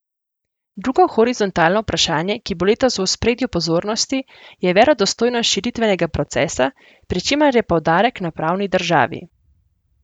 Drugo horizontalno vprašanje, ki bo letos v ospredju pozornosti, je verodostojnost širitvenega procesa, pri čemer je poudarek na pravni državi.